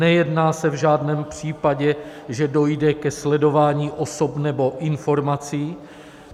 Nejedná se v žádném případě, že dojde ke sledování osob nebo informací.